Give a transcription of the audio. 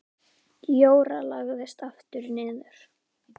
Jóra lagðist aftur niður.